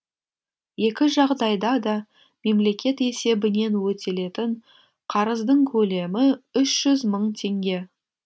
екі жағдайда да мемлекет есебінен өтелетін қарыздың көлемі үш жүз мың теңге